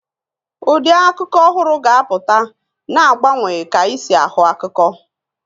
Ụdị akụkọ ọhụrụ ga-apụta, na-agbanwe ka anyị si ahụ akụkọ.